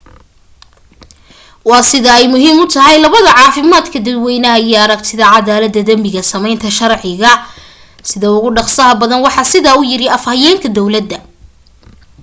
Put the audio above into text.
"waa sida ay muhiim u tahay labada caafimaadka dadweynaha iyo aragtida cadaalada dambiga sameynta sharciga sida ugu dhaqsaha badan waxaa sidaa u yiri afhayeenka dawlada.